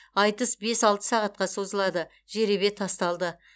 айтыс бес алты сағатқа созылады жеребе тасталды